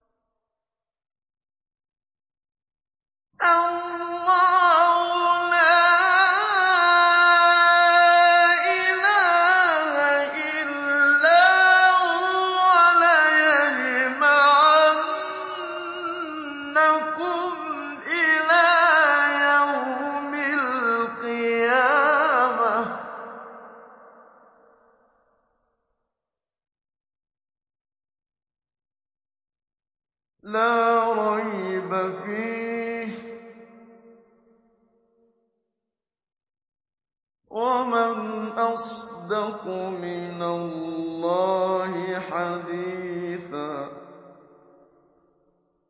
اللَّهُ لَا إِلَٰهَ إِلَّا هُوَ ۚ لَيَجْمَعَنَّكُمْ إِلَىٰ يَوْمِ الْقِيَامَةِ لَا رَيْبَ فِيهِ ۗ وَمَنْ أَصْدَقُ مِنَ اللَّهِ حَدِيثًا